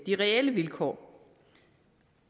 de reelle vilkår